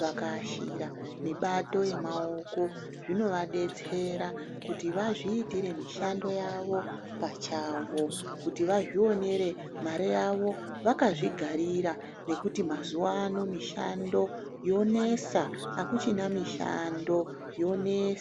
vakaashira mibato yemaoko zvinovadetsera kuti vazviitire mishando yawo pachawo, kuti vazvionere mare yawo vakazvigarira nokuti mazuwano mishando yonesa hakuchina mishando yonesa.